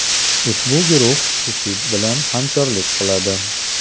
Ushbu guruh IShID bilan hamkorlik qiladi.